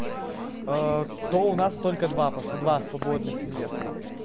а то у нас только два просто два свободных места